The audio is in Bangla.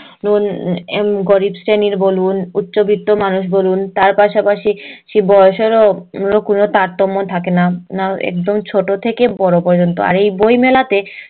উম গরিব শ্রেণীর বলুন উচ্চবিত্ত মানুষ বলুন তার পাশাপাশি সে বড়ো সড়ো অন্য কোনো তারতম্য থাকে না একদম ছোট থেকে বড়ো পর্যন্ত আর এই বই মেলাতে